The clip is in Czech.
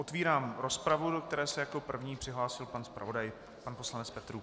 Otvírám rozpravu, do které se jako první přihlásil pan zpravodaj, pan poslanec Petrů.